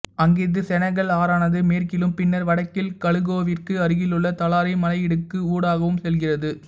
அங்கிருந்து செனகல் ஆறானது மேற்கிலும் பின்னர் வடக்கில் கலூகோவிற்கு அருகிலுள்ள தலாரி மலையிடுக்கு ஊடாகவும் செல்கிறது